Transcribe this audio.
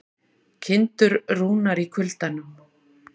Kindur rúnar í kuldanum